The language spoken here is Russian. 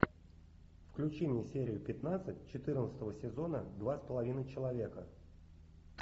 включи мне серию пятнадцать четырнадцатого сезона два с половиной человека